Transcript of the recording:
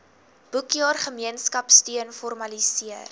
boekjaar gemeenskapsteun formaliseer